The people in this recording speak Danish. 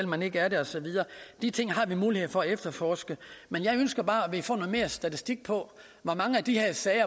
man ikke er det og så videre de ting har vi mulighed for at efterforske men jeg ønsker bare at vi får noget mere statistik på hvor mange af de her sager